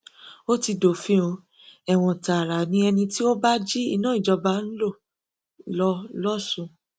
ó ti dófin o ẹwọn tààrà ni ẹni tó bá jí iná ìjọba ló ń lọ lọsùn